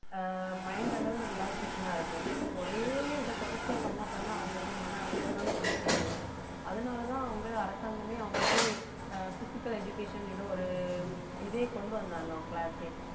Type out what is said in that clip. ஆஹ் mind அளவுல relaxation ஆ இருக்கும் ஒரே இதை தொடர்ச்சியா பண்ண பண்ண அவங்களுக்கு மன அழுத்த ம்தான் கூடிட்டே இருக்கும் அத அதனாலதான் அவங்க அரசாங்கமே அவங்களுக்கு ஆஹ் physical education ஏதோ ஒரு இதே கொண்டு வந்தாங்க அவங்க class ஏ